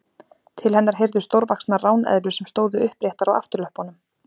Til hennar heyrðu stórvaxnar ráneðlur sem stóðu uppréttar á afturlöppunum.